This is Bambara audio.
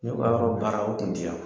N ye baaraw baara aw tun ti yan!